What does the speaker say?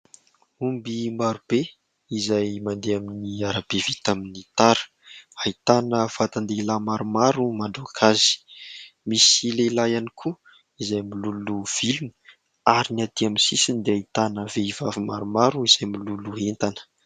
Omby maro be izay mandeha amin'ny arabe vita amin'ny tara. Ahitana vatan-dehilahy maromaro mandroaka azy, misy lehilahy ihany koa izay miloloha vilona, ary ny aty amin'ny sisiny dia ahitana vehivavy maromaro izay miloloha entana.